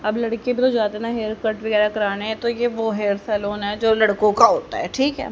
अब लड़के भी तो जाते हैं ना हेयर कट वगैरा कराने तो ये वो हेयर सैलून है जो लड़कों का होता है ठीक है।